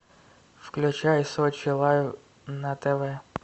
включай сочи лайв на тв